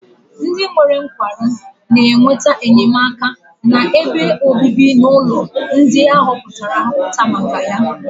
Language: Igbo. Ndị nwere nkwarụ na-enweta enyemaka na ebe obibi n'ụlọ ndị a họpụtara ahọpụta maka ha.